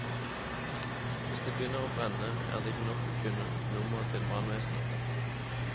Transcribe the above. Hvis det begynner å brenne, er det ikke nok å kunne nummeret til brannvesenet.